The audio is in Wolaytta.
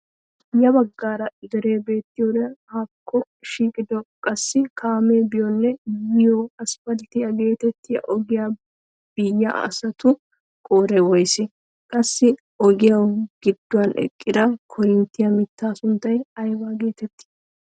Ya baggaara deree beettiyoode haakko shiiqiyoode qassi kaamee biyoonne yiyoo aspalttiyaa getettiyaa ogiyaa biyaa asatu qooday woysee? qassi ogiyaawu gidduwaan eqqida korinttiyaa mittaa sunttay ayba getettii?